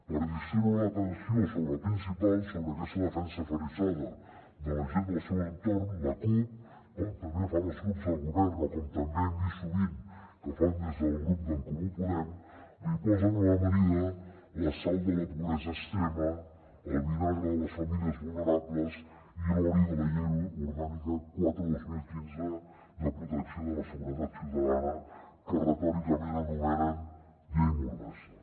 per distreure l’atenció sobre la principal sobre aquesta defensa aferrissada de la gent del seu entorn la cup com també fan els grups de govern o com també hem vist sovint que fan des del grup d’en comú podem li posen a l’amanida la sal de la pobresa extrema el vinagre de les famílies vulnerables i l’oli de la llei orgànica quatre dos mil quinze de protecció de la seguretat ciutadana que retòricament anomenen llei mordassa